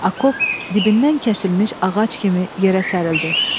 Akop dibindən kəsilmiş ağac kimi yerə sərilirdi.